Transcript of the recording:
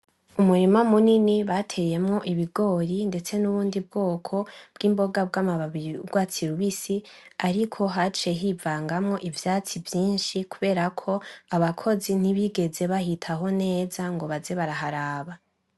Umurima munini bateyemwo ibigori ndetse n'ubundi bwoko bw'imboga bw'amababi y'ugwatsi rubisi. Ariko haciye hivangamwo ivyatsi vyinshi kuberako abakozi ntibigeze bahitaho neza ngo baze baraharaba.